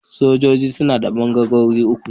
Sojoji suna da ɓangarori uku.